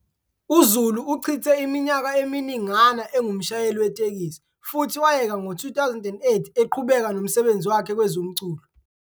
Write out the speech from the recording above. UZulu uchithe iminyaka eminingana engumshayeli wetekisi futhi wayeka ngo-2008 eqhubeka nomsebenzi wakhe kwezomculo.